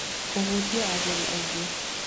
Kũhutia agũri aingĩ: